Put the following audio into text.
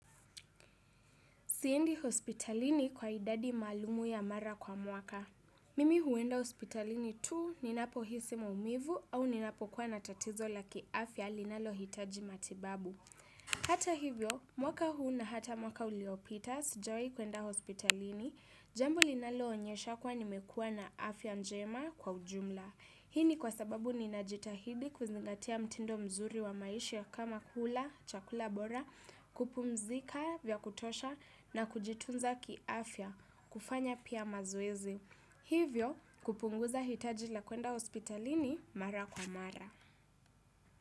Siendi hospitalini kwa idadi malumu ya mara kwa mwaka. Mimi huenda hospitalini tuu ninapohisi maumivu au ninapokuwa na tatizo la kiafya linalohitaji matibabu. Hata hivyo, mwaka huu na hata mwaka uliopita sijawi kuenda hospitalini. Jambo linaloonyesha kuwa nimekua na afya njema kwa ujumla. Hii ni kwa sababu ninajitahidi kuzingatia mtindo mzuri wa maishi ya kama kula, chakula bora, kupumzika vya kutosha na kujitunza ki afya, kufanya pia mazoezi. Hivyo kupunguza hitaji la kuenda hospitalini mara kwa mara.